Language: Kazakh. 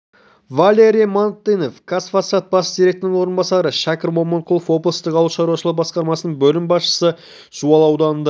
валерий мартынов қазфосфат бас директорының орынбасары шәкір момынқұлов облыстық ауыл шаруашылығы басқармасының бөлім басшысы жуалы ауданында